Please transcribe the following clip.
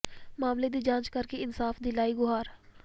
ਮਾਮਲੇ ਦੀ ਜਾਂਚ ਕਰ ਕੇ ਇਨਸਾਫ਼ ਦੀ ਲਾਈ ਗੁਹਾਰ